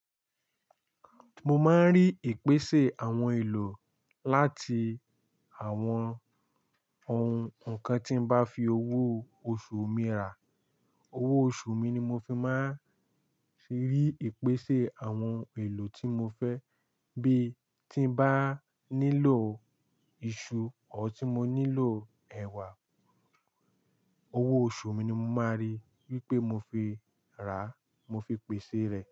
Mo máa ń rí ìpèsè àwọn èlò láti àwọn ohun kan tí n bá fi owó oṣù mi rà. Owó oṣù mi ni mo fi máa ń fi rí ìpèsè àwọn ohun èlò tí mo fẹ́. Bí tí n bá nílò iṣu or tí mo nílò ẹwà, owó oṣù mi ni mo máa rí wípé mo fi rà mo fi pèsè rẹ̀.